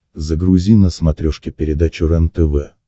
загрузи на смотрешке передачу рентв